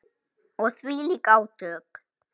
Og þvílík átök.